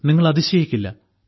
നിങ്ങൾ അതിശയിക്കില്ല